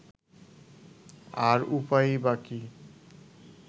আর উপায়ই বা কী